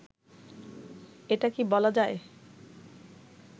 এটা কি বলা যায়